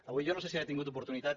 avui jo no sé si ha tingut oportunitat